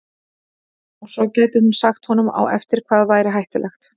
Og svo gæti hún sagt honum á eftir hvað væri hættulegt.